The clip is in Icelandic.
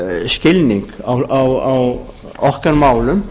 skilning á okkar málum